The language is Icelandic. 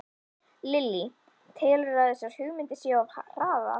Lillý: Telurðu að þessar hugmyndir séu of hraðar?